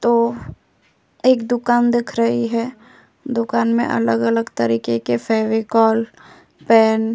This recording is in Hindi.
तो एक दुकान दिख रही है। दुकान में अलग-अलग तरीके के फेविकोल पेन --